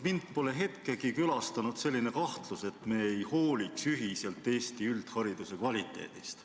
Mind pole hetkegi külastanud selline kahtlus, et me ei hooli ühiselt Eesti üldhariduse kvaliteedist.